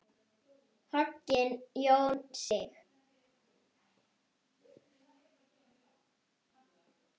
Hogginn Jón Sig.